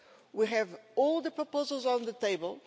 We have all the proposals on the table.